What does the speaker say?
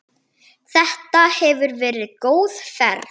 Þetta hefur verið góð ferð.